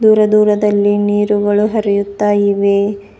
ದೂರ ದೂರದಲ್ಲಿ ನೀರುಗಳು ಹರಿಯುತ್ತಾ ಇವೆ.